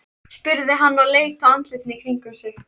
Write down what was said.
spurði hann og leit á andlitin í kringum sig.